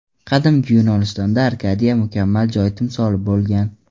Qadimgi Yunonistonda Arkadiya mukammal joy timsoli bo‘lgan.